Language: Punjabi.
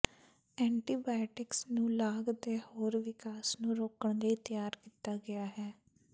ਐਂਟੀਬਾਇਓਟਿਕਸ ਨੂੰ ਲਾਗ ਦੇ ਹੋਰ ਵਿਕਾਸ ਨੂੰ ਰੋਕਣ ਲਈ ਤਿਆਰ ਕੀਤਾ ਗਿਆ ਹੈ